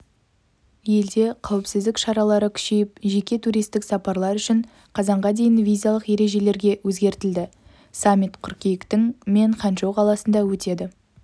елде қауіпсіздік шаралары күшейіп жеке туристік сапарлар үшін қазанға дейін визалық ережелерге өзгертілді саммит қыркүйектің мен ханчжоу қаласында өтеді